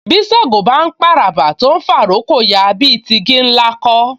Bí Ṣàngó bá ń p'àràbà tó ń fà'rókò ya, bí i ti igi ńlá kọ́